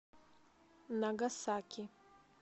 нагасаки